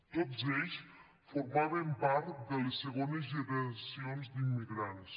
tots ells formaven part de les segones generacions d’immigrants